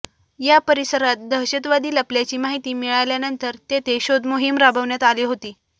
या परिसरात दहशतवादी लपल्याची माहिती मिळाल्यानंतर तेथे शोधमोहीम राबवण्यात आली होती